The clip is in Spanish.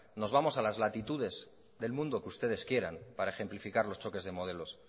nos vamos a las latitudes del mundo que ustedes quieran para ejemplificar los choques de modelos